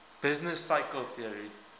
business cycle theory